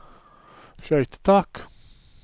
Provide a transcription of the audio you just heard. skøytetak